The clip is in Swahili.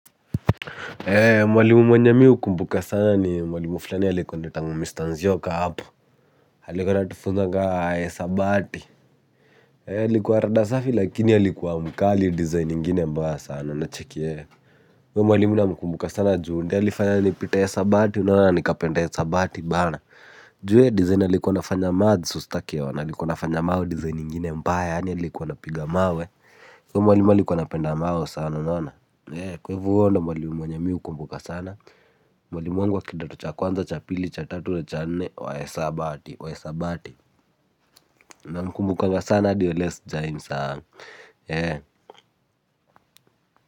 Mwalimu mwenye miu kumbuka sana ni mwalimu fulani halikuwa ndetangu mista nzioka hapo. Halikuwa natufuza ka sabati. Halikuwa rada safi lakini halikuwa mkali design ingine mbaya sana na checkie. Mwalimu namu sana juundi halifanya ni pita isabati unanana nikapenta isabati bana. Jue design halikuwa nafanya maths ustakeona halikuwa nafanya mao design ingine mbaya yani halikuwa napiga mawe. Mwalimu alikuwa anapenda mao sana unaona. Kwa ivo huyo ndo mwalimu mwenye miukumbuka sana. Mwalimu wangu wa kidato cha kwanza cha pili cha tatu lecha ne wae sabati wae sabati na mkumbukanga sana di wa leo sujaimsau.